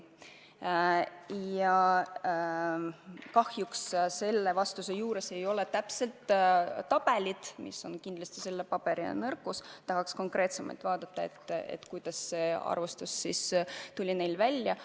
Ja kahjuks selle vastuse juures ei ole täpset skeemi – see on kindlasti selle paberi nõrkus, tahaks konkreetsemalt teada saada –, kuidas see arvestus neil on tehtud.